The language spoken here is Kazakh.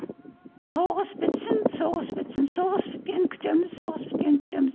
соғыс бітсін соғыс бітсін соғыс біткенін күтеміз соғыс біткенін күтеміз